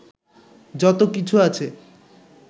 যত কিছু আছে